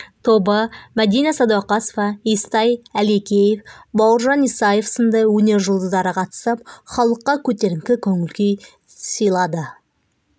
тобы мадина сәдуақасова естай әлекеев бауыржан исаев сынды өнер жұлдыздары қатысып халыққа көтеріңкі көңіл-күй сыйлады